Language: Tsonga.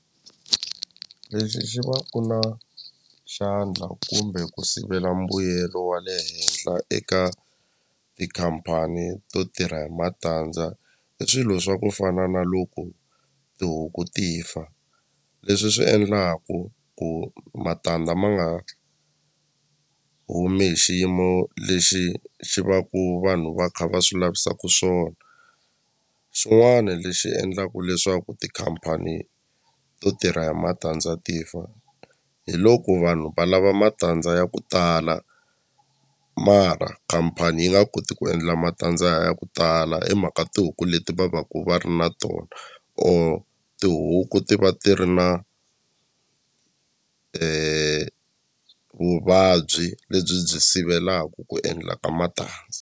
Lexi xi va ku na xandla kumbe ku sivela mbuyelo wa le henhla eka tikhampani to tirha hi matandza i swilo swa ku fana na loko tihuku ti fa leswi swi endlaku ku matandza ma nga humi hi xiyimo lexi xi va ku vanhu va kha va swi lavisaku swona xin'wana lexi endlaku leswaku tikhampani to tirha hi matandza ti fa hi loko vanhu va lava matandza ya ku tala mara khampani yi nga koti ku endla matandza ya ku tala hi mhaka tihuku leti va va ku va ri na tona or tihuku ti va ti ri na vuvabyi lebyi byi sivelaku ku endla ka matandza.